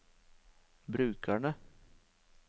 brukerne